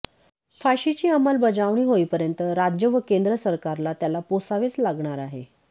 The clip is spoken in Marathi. फाशीची अंमलबजावणी होईपर्यंत राज्य व केंद्र सरकारला त्याला पोसावेच लागणार आहे